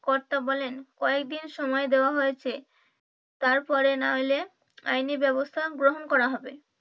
কর্তা বলেন কয়দিন সময় দেয়া হয়েছে তার পরে না এলে আইনি ব্যবস্থা গ্রহণ করা হবে।